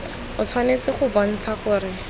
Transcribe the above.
o tshwanetse go bontsha gore